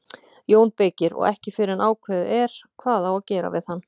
JÓN BEYKIR: Og ekki fyrr en ákveðið er hvað á að gera við hann.